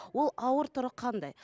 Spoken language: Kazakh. ол ауыр түрі қандай